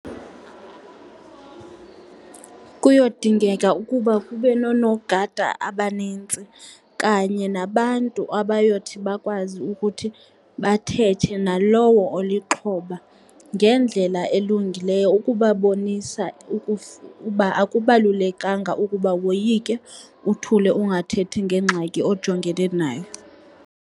Kuyodingeka ukuba kube noonogada abanintsi kanye nabantu abayothi bakwazi ukuthi bathethe nalowo olixhoba ngendlela elungileyo ukubabonisa ukuba akubalulekanga ukuba woyike, uthule ungathethi ngengxaki ojongene nayo.